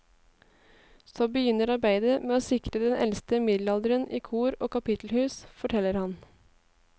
Så begynner arbeidet med å sikre den eldste middelalderdelen i kor og kapittelhus, forteller han.